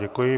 Děkuji.